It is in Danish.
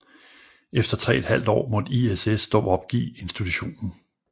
Efter tre et halvt år måtte ISS dog opgive institutionen